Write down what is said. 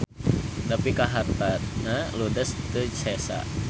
Nepi ka hartana ludes teu sesa.